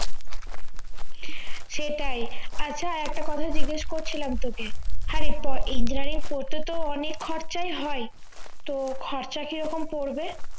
সেটাই আচ্ছা একটা কথা জিজ্ঞেস করছিলাম তোকে হ্যাঁরে engineering পড়তে তো অনেক খরচাই হয় তো খরচা কিরকম পড়বে